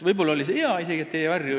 Võib-olla oli see isegi hea.